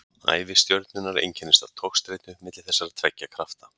ævi stjörnunnar einkennist af togstreitu milli þessara tveggja krafta